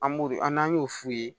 An b'u an' an y'o f'u ye